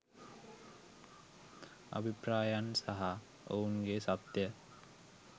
අභිප්‍රායන් සහ ඔවුන්ගේ සත්‍යය